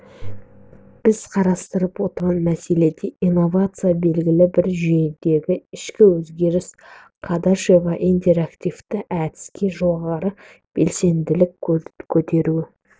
біз қарастырып отырған мәселеде инновация белгілі бір жүйедегі ішкі өзгеріс қадашева интерактивті әдіске жоғары белсенділікті көтеру